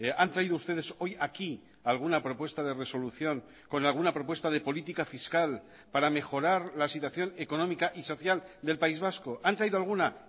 han traído ustedes hoy aquí alguna propuesta de resolución con alguna propuesta de política fiscal para mejorar la situación económica y social del país vasco han traído alguna